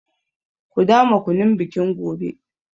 Ku dama kunun bikin gobe.